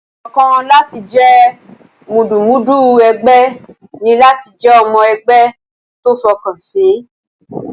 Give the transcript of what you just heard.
Ọ̀nà kan láti jẹ́ mùdùmúdù ẹgbẹ́ ní láti jẹ́ ọmọ ẹgbẹ́ tó fọkànsìn.